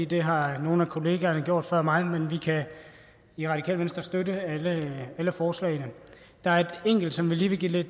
det har nogle af kollegaerne gjort før mig men vi kan i radikale venstre støtte alle forslagene der er et enkelt som jeg lige vil give